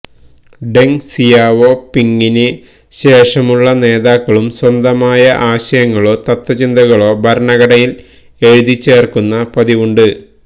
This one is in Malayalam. ഡെങ് സിയാവോ പിങിന് ശേഷമുള്ള നേതാക്കളും സ്വന്തമായ ആശയങ്ങളോ തത്വചിന്തകളോ ഭരണഘടയില് എഴുതിച്ചേര്ക്കുന്ന പതിവുണ്ട്